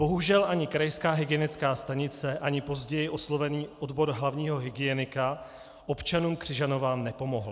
Bohužel ani krajská hygienická stanice ani později oslovený odbor hlavního hygienika občanům Křižanova nepomohly.